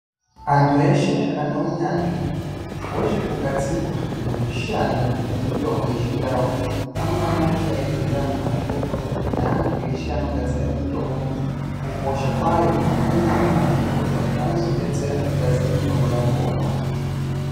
Antu eshe ane hunyanzvi hwezvekugadzirwa nekushanda kwemitombo yechindau anofanira kuita ku eibhuyira ana mazvikokota neantu eshe anogadzira mitombo kukosha kwayo pamweni ana mazvikokota anodetsera kugadzira mitombo yakona.